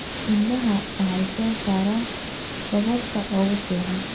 Idaha waxay soo saaraan dhogorta ugu fiican.